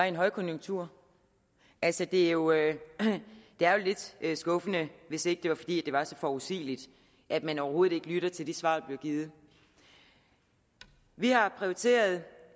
en højkonjunktur altså det er jo lidt skuffende hvis ikke det var fordi det var så forudsigeligt at man overhovedet ikke lytter til de svar der bliver givet vi har prioriteret